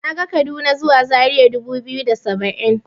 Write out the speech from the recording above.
Naga kaduna zuwa zaria dubu biyu da saba'in.